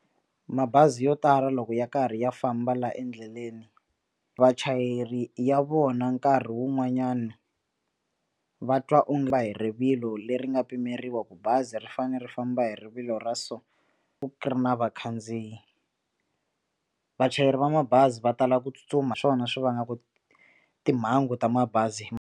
Mabazi yo tala loko ya karhi ya famba la endleleni vachayeri ya vona nkarhi wun'wanyani va twa onge va hi rivilo leri nga pimeriwa ku bazi ri fanele ri famba hi rivilo ra so ku ri na vakhandziyi vachayeri va mabazi va tala ku tsutsuma swona swi vangaka timhangu ta mabazi.